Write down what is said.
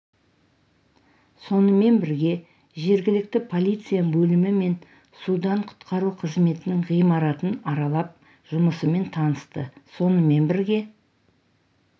сонымен бірге жергілікті полиция бөлімі мен судан құтқару қызметінің ғимаратын аралап жұмысымен танысты сонымен бірге